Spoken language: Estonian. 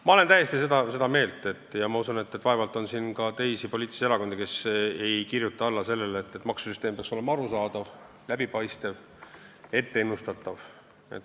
Ma olen täiesti seda meelt ja ma usun, et vaevalt on siin ka teisi poliitilisi erakondi, kes ei kirjuta alla sellele, et maksusüsteem peaks olema arusaadav, läbipaistev ja ennustatav.